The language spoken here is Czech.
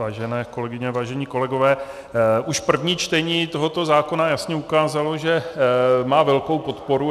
Vážené kolegyně, vážení kolegové, už první čtení tohoto zákona jasně ukázalo, že má velkou podporu.